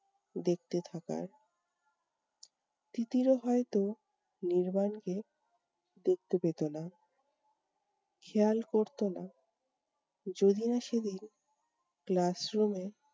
দেখতে থাকার। তিতিরও হয়তো নির্বাণকে দেখতে পেতো না, খেয়াল করতো না, যদিনা সেদিন class room এ